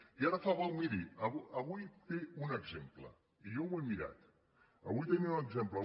i ara miri avui en té un exemple i jo ho he mirat avui en tenim un exemple